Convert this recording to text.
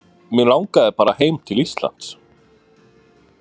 Mig langaði bara heim til Íslands.